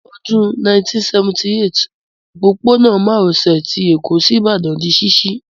Ní Ọdún 1978, òpópónà márosè ti Èkó sí Ìbàdàn di ṣíṣí